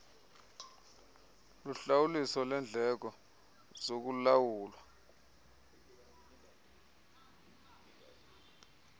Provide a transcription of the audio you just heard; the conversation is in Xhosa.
luhlawuliso lendleko zokulawula